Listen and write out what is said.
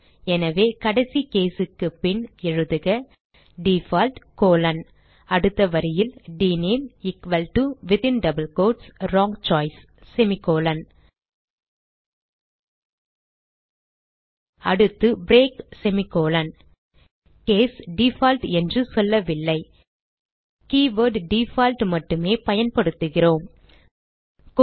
எனவே கடைசி case க்கு பின் எழுதுக டிஃபால்ட் கோலோன் அடுத்த வரியில் dname equal to within double quotes wrong choice semicolon அடுத்து பிரேக் செமிகோலன் கேஸ் டிஃபால்ட் என்று சொல்லவில்லை கீவர்ட் டிஃபால்ட் மட்டும் பயன்படுத்துகிறோம் என்பதை கவனிக்கவும்